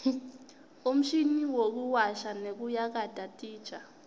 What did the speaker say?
umshini wekuwasha nekuyakata titja